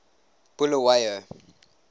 bulawayo